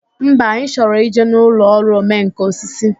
Mba, anyị chọrọ ịje n'ụlọ ọrụ omenkà osisi